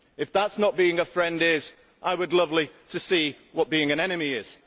If that is what not being a friend is, I would love to see what being an enemy is.